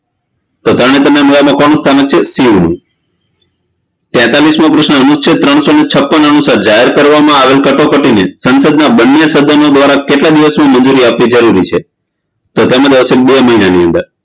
તો તરણેતરના મેળા માં કોનું સ્થાનક છે શિવનું તેતાલીશમો પ્રશ્ન અનુષછેદ ત્રણશો ને છપ્પન અનુશાર જાહેર કરવામાં આવેલ કટોકટીને સંશદના બંને સદનો દ્વારા કેટલા દિવસની મંજૂરી આપવી જરૂરી છે તો તેમ આવશે બે મહિનાની અંદર